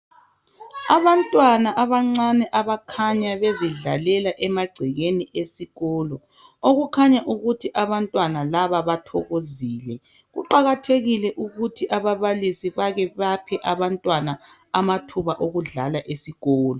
Abantwana abancane abakhanya bezidlalela emagcekeni esikolo, okukhanya ukuthi abantwana laba bathokozile. Kuqakathekile ukuthi ababalisi bake baphe abantwana amathuba okudlala esikolo.